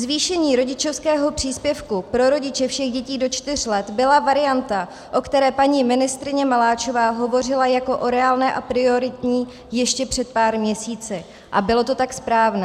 Zvýšení rodičovského příspěvku pro rodiče všech dětí do čtyř let byla varianta, o které paní ministryně Maláčová hovořila jako o reálné a prioritní ještě před pár měsíci, a bylo to tak správné.